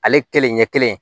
Ale kelen ɲɛ kelen